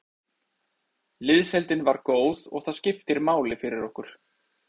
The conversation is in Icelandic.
Liðsheildin var góð og það skiptir máli fyrir okkur.